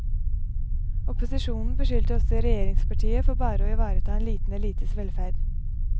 Opposisjonen beskyldte også regjeringspartiet for å bare ivareta en liten elites velferd.